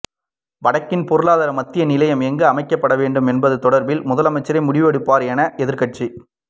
வடக்கின் பொருளாதார மத்திய நிலையம் எங்கே அமைக்கப்படவேண்டும் என்பது தொடர்பில் முதலமைச்சரே முடிவு எடுப்பார் என எதிர்க்கட்சித்